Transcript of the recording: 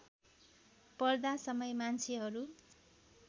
पर्दा समय मान्छेहरू